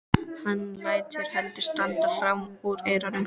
Hann lætur hendur standa fram úr ermum.